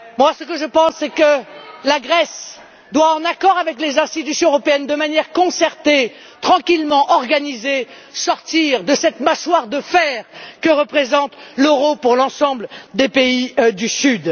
Ce que je pense, c'est que la Grèce doit, en accord avec les institutions européennes et de manière concertée, tranquillement, sortir de cette mâchoire de fer que représente l'euro pour l'ensemble des pays du Sud.